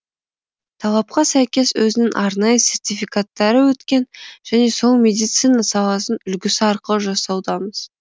талапқа сәйкес өзінің арнайы сертификаттары өткен және сол медицина саласының үлгісі арқылы жасаудамыз